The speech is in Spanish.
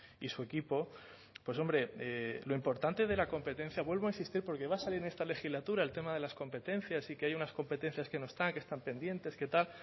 y su equipo pues hombre lo importante de la competencia vuelvo a insistir porque va a salir en esta legislatura el tema de las competencias y que hay unas competencias que no están que están pendientes que tal